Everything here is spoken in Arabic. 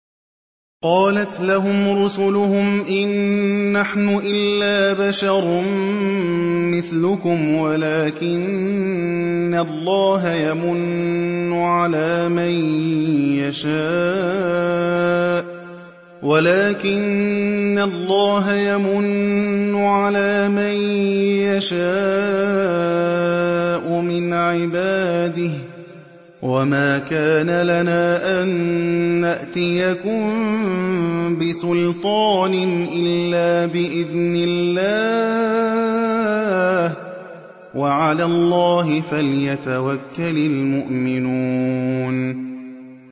قَالَتْ لَهُمْ رُسُلُهُمْ إِن نَّحْنُ إِلَّا بَشَرٌ مِّثْلُكُمْ وَلَٰكِنَّ اللَّهَ يَمُنُّ عَلَىٰ مَن يَشَاءُ مِنْ عِبَادِهِ ۖ وَمَا كَانَ لَنَا أَن نَّأْتِيَكُم بِسُلْطَانٍ إِلَّا بِإِذْنِ اللَّهِ ۚ وَعَلَى اللَّهِ فَلْيَتَوَكَّلِ الْمُؤْمِنُونَ